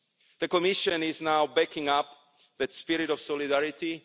The Commission is now backing up that spirit of solidarity.